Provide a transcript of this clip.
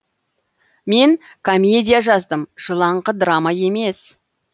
мен комедия жаздым жылаңқы драма емес